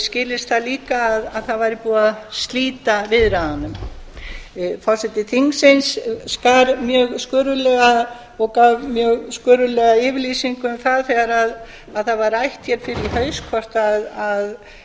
skilist það líka að það væri búið að slíta viðræðunum forseti þingsins okkar mjög sköruglega og gaf mjög sköruglega yfirlýsingu um það þegar það var rætt hér fyrr í haust hvort